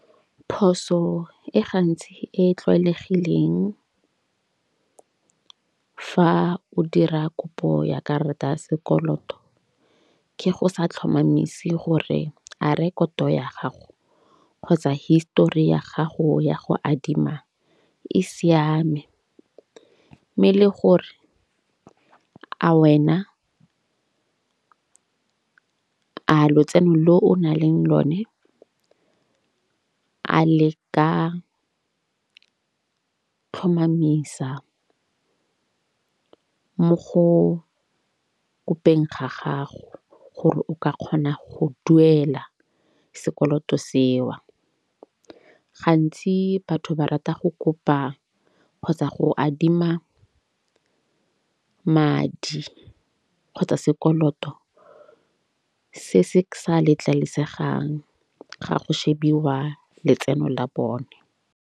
Phoso e gantsi e e tlwaelegileng fa o dira kopo ya karata ya sekoloto, ke go sa tlhomamise gore a rekoto ya gago kgotsa histori ya gago ya go adima e siame. Mme le gore a wena a lotseno lo o na leng lone a le ka tlhomamisa mo go bopeng ga gago. Gore o ka kgona go duela sekoloto seo. Gantsi batho ba rata go kopa kgotsa go adima madi kgotsa sekoloto se se sa letlalisegang ga go shebiwa letseno la bone.